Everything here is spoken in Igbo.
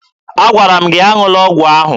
Agwara m gị aṅụla ọgwụ ahụ!